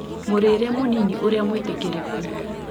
Mũrĩĩre mũnini ũrĩa mũĩtĩkĩrĩku